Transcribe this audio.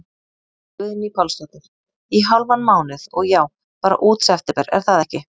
Guðný Pálsdóttir: Í hálfan mánuð, og já, bara út september er það ekki?